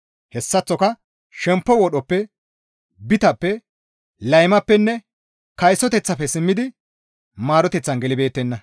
Hessaththoka shemppo wodhoppe, bitappe, laymappenne kaysoteththafe simmidi maaroteththan gelibeettenna.